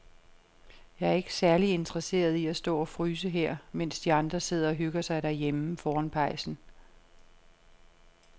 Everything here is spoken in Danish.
Jeg er ikke særlig interesseret i at stå og fryse her, mens de andre sidder og hygger sig derhjemme foran pejsen.